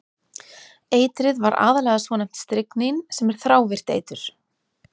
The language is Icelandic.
Eitrið var aðallega svonefnt stryknín sem er þrávirkt eitur.